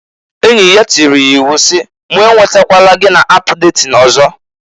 Enyi ya tiiri ya iwu si! "Mu e nwetatala gị na ap detin ọzọ!"